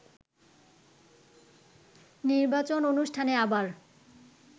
নির্বাচন অনুষ্ঠানে আবার